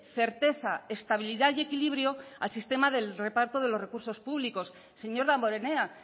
certeza estabilidad y equilibrio al sistema del reparto de los recursos públicos señor damborenea